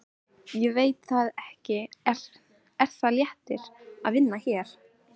Ég veit það ekki Er það léttir að vinna hér?